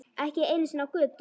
Ekki einu sinni á götu.